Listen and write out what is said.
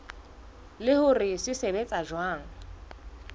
le hore se sebetsa jwang